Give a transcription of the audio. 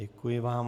Děkuji vám.